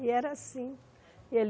E era assim. E ele